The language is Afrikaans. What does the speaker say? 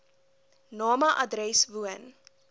name adres woon